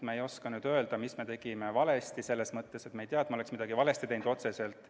Me ei oska öelda, mida me tegime valesti, selles mõttes, et me ei tea, et me oleks midagi otseselt valesti teinud.